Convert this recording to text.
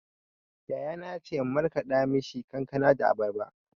Yayana ya ce in markaɗa mishi kankana da abarba.